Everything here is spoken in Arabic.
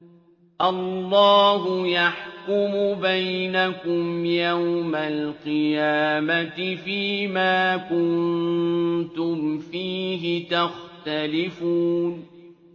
اللَّهُ يَحْكُمُ بَيْنَكُمْ يَوْمَ الْقِيَامَةِ فِيمَا كُنتُمْ فِيهِ تَخْتَلِفُونَ